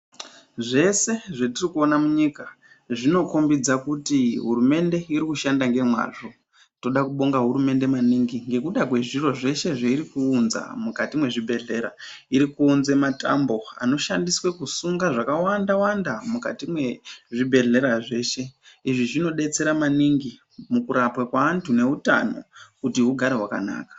Zvese zvetiri kuone munyika zvinokhombidza kuti hurumende iri kushanda ngemwazvo. Tinoda kubonga hurumende maningi ngekuda kwezviro zveshe zveiri kuunza mukati mwezvibhedhlera. Iri kuunze matambo anoshandiswe kusunge zvakawanda -wanda mukati mwezvibhedhlera zveshe. Izvi zvinodetsera maningi mukurapwa kwaanhu neutano kuti hugare hwakanaka.